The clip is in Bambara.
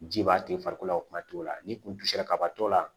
Ji b'a to i farikolo la o kuma t'o la n'i kun sera kaba t'o la